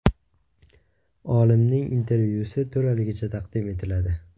Olimning intervyusi to‘laligicha taqdim etiladi.